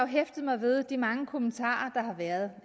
hæftet mig ved de mange kommentarer der har været